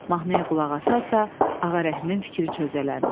Mahnıya qulaq asarsa Ağarəhmin fikri çözələndi.